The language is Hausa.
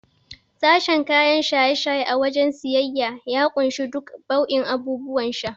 Sashen kayan shaye-shaye a wajen siyayya ya kunshi duka bau'in abubuwan sha.